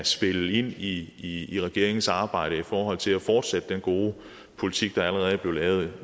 spille ind i i regeringens arbejde i forhold til at fortsætte den gode politik der allerede er blevet lavet